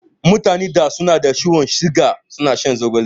Mutanen da suke da ciwon siga suna shan zogale.